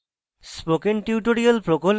spoken tutorial প্রকল্প the